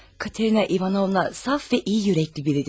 Katerina İvanovna saf və iyi ürəkli biridir.